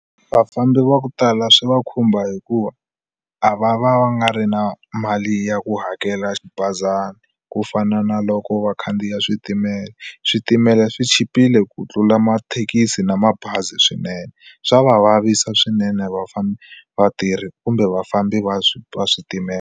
Vafambi va ku tala swi va khumba hikuva a va va va nga ri na mali ya ku hakela xibazana ku fana na loko va khandziya switimela switimela swi chipile ku tlula mathekisi na mabazi swinene swa va vavisa swinene vafambi vatirhi kumbe vafambi va swi switimela.